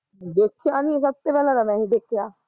ਦੇਖਿਆ ਨੀ ਸਭ ਤੋਂ ਪਹਿਲਾਂ ਤਾਂ ਮੈਂ ਹੀਂ ਦੇਖਿਆ